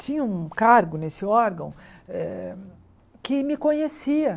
Tinha um cargo nesse órgão eh que me conhecia.